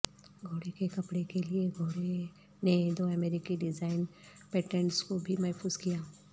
گھوڑے کے کپڑے کے لئے گھوڑے نے دو امریکی ڈیزائن پیٹنٹس کو بھی محفوظ کیا